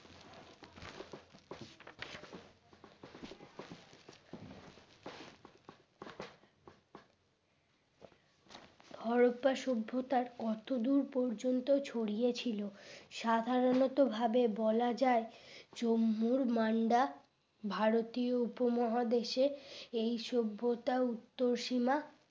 হরপ্পা সভ্যতার কতদূর পর্যন্ত ছড়িয়েছিল সাধারণত ভাবে বলা যায় জম্বুর মান্ডা ভারতীয় উপমহাদেশে এই সভ্যতা উত্তর সীমা